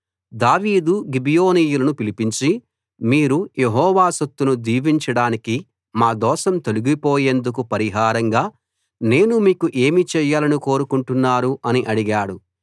దావీదు గిబియోనీయులను పిలిపించి మీరు యెహోవా సొత్తును దీవించడానికి మా దోషం తొలగిపోయేందుకు పరిహారంగా నేను మీకు ఏమి చేయాలని కోరుకుంటున్నారు అని అడిగాడు